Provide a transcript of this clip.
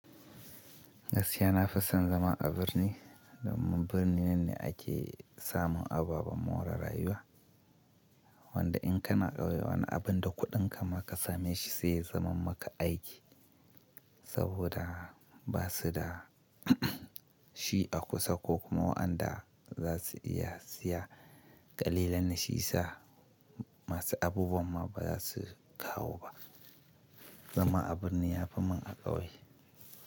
Gaskiya na fi son zama a birni domin birni nan ne ake samun ababen more rayuwa. Wanda in kana ƙauye wani abin da kuɗinka ma ka same shi sai ya zaman maka aiki saboda ba su da shi a kusa ko kuma waɗanda za su iya siya ƙalilan na shi sa masu abubuwan ma ba za su kawo ba. Zama a birni yafi mun a ƙauye.